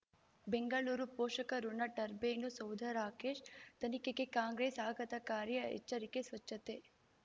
ಬೆಂಗಳೂರು ಪೋಷಕಋಣ ಟರ್ಬೈನು ಸೌಧ ರಾಕೇಶ್ ತನಿಖೆಗೆ ಕಾಂಗ್ರೆಸ್ ಆಘಾತಕಾರಿ ಎಚ್ಚರಿಕೆ ಸ್ವಚ್ಛತೆ